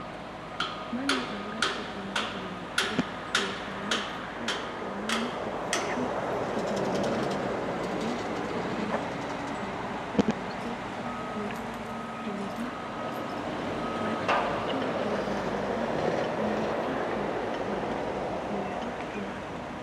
mannu angate ogimma horonsire loosanno loosi giddo mittu bushshu uduunne loossannori seekkite biifisse loosse wortinoha baccicho lawannoha duucha mittowa nooho yaate